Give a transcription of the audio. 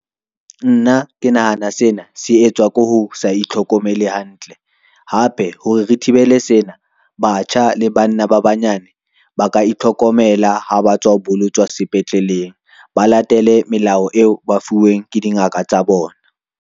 Nna ke nahana sena se etswa ke ho sa itlhokomele hantle, hape hore re thibele sena batjha le banna ba banyane ba ka itlhokomela ha ba tswa ho bolotswa sepetleleng, ba latele melao eo ba fuweng ke dingaka tsa bona.